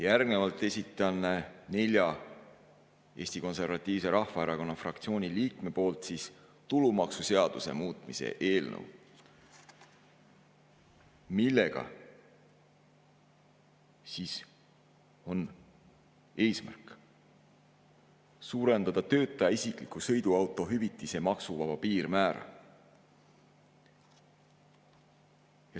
Järgnevalt esitan nelja Eesti Konservatiivse Rahvaerakonna fraktsiooni liikme poolt tulumaksuseaduse muutmise eelnõu, mille eesmärk on suurendada töötaja isikliku sõiduauto hüvitise maksuvaba piirmäära.